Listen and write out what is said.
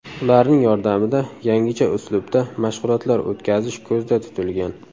Ularning yordamida yangicha uslubda mashg‘ulotlar o‘tkazish ko‘zda tutilgan.